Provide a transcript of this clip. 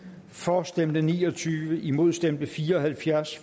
for stemte ni og tyve imod stemte fire og halvfjerds